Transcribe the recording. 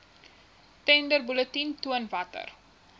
tenderbulletin toon watter